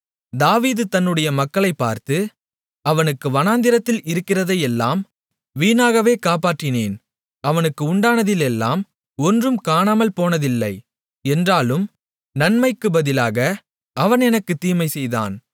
தாவீது தன்னுடைய மக்களைப் பார்த்து அவனுக்கு வனாந்திரத்தில் இருக்கிறதையெல்லாம் வீணாகவே காப்பாற்றினேன் அவனுக்கு உண்டானதிலெல்லாம் ஒன்றும் காணாமல்போனதில்லை என்றாலும் நன்மைக்குப் பதிலாக அவன் எனக்குத் தீமை செய்தான்